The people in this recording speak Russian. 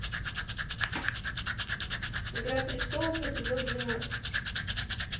игра престолов эпизод двенадцать